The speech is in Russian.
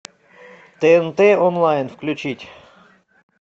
тнт онлайн включить